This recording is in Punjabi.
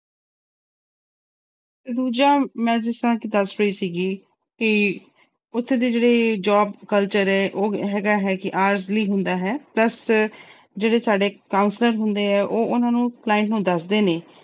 ਦੂਜਾ ਮੈਂ ਜਿਸ ਤਰ੍ਹਾਂ ਕਿ ਦੱਸ ਰਹੀ ਸੀਗੀ ਕਿ ਉੱਥੇ ਦੇ ਜਿਹੜੇ job culture ਹੈ ਉਹ ਹੈਗਾ ਹੈ ਕਿ ਹੁੰਦਾ ਹੈ plus ਜਿਹੜੇ ਸਾਡੇ counselor ਹੁੰਦੇ ਹੈ ਉਹ ਉਹਨਾਂ ਨੂੰ client ਨੂੰ ਦੱਸਦੇ ਨੇ